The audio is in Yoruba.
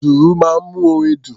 Dùrù máa ń mú orin dùn.